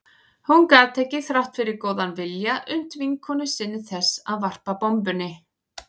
Hún gat ekki, þrátt fyrir góðan vilja, unnt vinnukonu sinni þess að varpa bombunni.